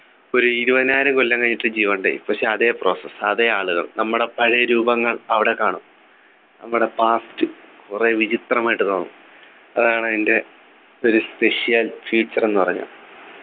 ഒരു ഇരുപതിനായിരം കൊല്ലം കഴിഞ്ഞിട്ട് ജീവനുണ്ടായി പക്ഷെ അതെ process അതെ ആളുകൾ നമ്മുടെ പഴയ രൂപങ്ങൾ അവിടെ കാണും നമ്മുടെ past കുറെ വിചിത്രമായിട്ടു തോന്നും അതാണ് അതിൻ്റെ ഒരു special feature എന്ന് പറഞ്ഞാൽ